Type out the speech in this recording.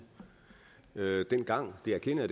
dengang det erkender